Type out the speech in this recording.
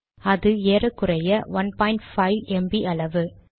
அது ஏறக்குறைய 15 ம்ப் அளவு